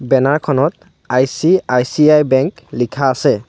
Banner খনত ICICI bank লিখা আছে।